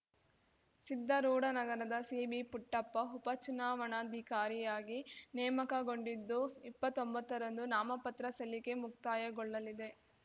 ಸಿದ್ದಾರೂಢನಗರದ C B Puttappa ಉಪಚುನಾವಣಾಧಿಕಾರಿಯಾಗಿ ನೇಮಕಗೊಂಡಿದ್ದು ಇಪ್ಪತ್ತೊಂಬತ್ತರಂದು ನಾಮಪತ್ರ ಸಲ್ಲಿಕೆ ಮುಕ್ತಾಯಗೊಳ್ಳಲಿದೆ